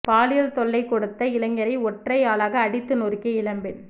பாலியல் தொல்லை கொடுத்த இளைஞரை ஒற்றை ஆளாக அடித்து நொறுக்கிய இளம்பெண்